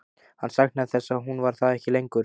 Hann saknaði þess að hún var það ekki lengur.